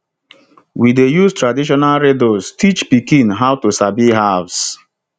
we dey use traditional riddles teach pikin how to sabi herbs